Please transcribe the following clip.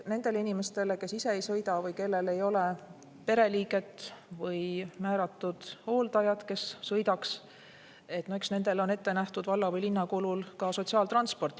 Nendele inimestele, kes ise ei sõida või kellel ei ole pereliiget või määratud hooldajat, kes sõidaks, on ette nähtud valla või linna kulul sotsiaaltransport.